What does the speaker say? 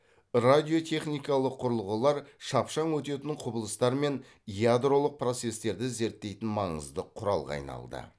радиотехникалық құрылғылар шапшаң өтетін құбылыстар мен ядролық процестерді зерттейтін маңызды құралға айналды